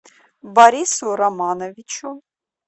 борису романовичу